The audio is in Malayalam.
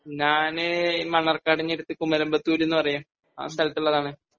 ഞാന് മണ്ണാർകാടിനടുത്ത് കുമരമ്പത്തൂര് എന്ന് പറയും ആ സ്ഥലത്ത് ഉള്ളത് ആണ്